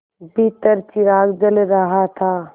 भीतर चिराग जल रहा था